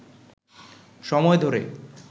সময় ধরে